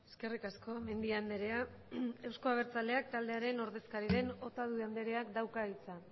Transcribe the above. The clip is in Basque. eskerrik asko mendia andrea euzko abertzaleak taldearen ordezkari den otadui andreak dauka hitza